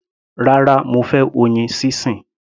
Rárá, mo fẹ́ oyin sísìn.